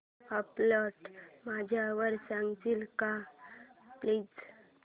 upload झाल्यावर सांगशील का प्लीज